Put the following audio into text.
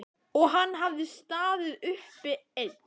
Og hann hafði staðið uppi einn.